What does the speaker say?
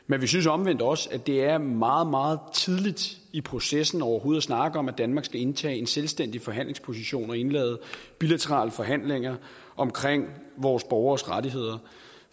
men vi synes omvendt også at det er meget meget tidligt i processen overhovedet at snakke om at danmark skal indtage en selvstændig forhandlingsposition og indlede bilaterale forhandlinger om vores borgeres rettigheder